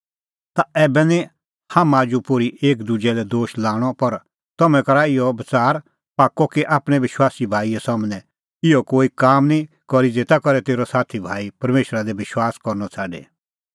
ता ऐबै निं हाम्हां आजू पोर्ही एकी दुजै लै दोश लाणअ पर तम्हैं करा इहअ बच़ार पाक्कअ कि आपणैं विश्वासी भाईए सम्हनै निं इहअ कोई काम करी ज़ेता करै तेरअ साथी भाई परमेशरा दी विश्वास करनअ छ़ाडे